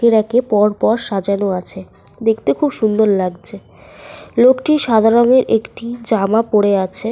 রাকে পরপর সাজানো আছে। দেখতে খুব সুন্দর লাগছে। লোকটি সাদা রঙের একটি জামা পরে আছে।